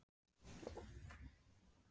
Hvað dreymir þig um að eignast inn á heimilið?